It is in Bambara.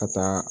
Ka taa